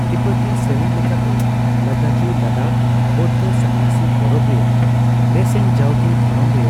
ᱛᱤᱵᱵᱚᱛᱤ ᱥᱮᱨᱮᱧ ᱞᱮᱠᱟᱛᱮ ᱞᱟᱫᱟᱠᱷᱤ ᱞᱟᱫᱟᱠ ᱵᱳᱭᱫᱷᱚ ᱥᱚᱱᱱᱟᱥᱤ ᱯᱟᱨᱟᱵ ᱨᱮᱭᱟᱜ ᱨᱮᱥᱮᱧ ᱡᱟᱣᱜᱮ ᱫᱷᱚᱨᱚᱢ ᱨᱮᱭᱟᱜ